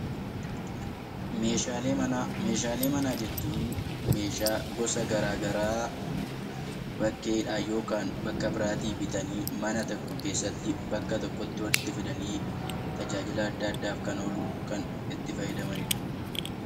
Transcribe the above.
Meeshaalee manaa jechuun meeshaa gosa garaa garaa bakkeedhaa yookaan bakka biraatti bitanii mana tokko keessatti, bakka tokkotti walitti fidanii tajaajila adda addaaf kan oolu, kan itti fayyadamanidha.